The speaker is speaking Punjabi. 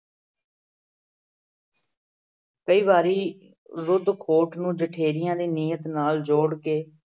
ਕਈ ਵਾਰੀ ਰੁਧ ਖੌਠ ਨੂੰ ਜਠੇਰਿਆਂ ਦੀ ਨੀਅਤ ਨਾਲ ਜੋੜ ਕੇ